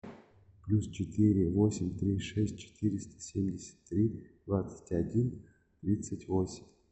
плюс четыре восемь три шесть четыреста семьдесят три двадцать один тридцать восемь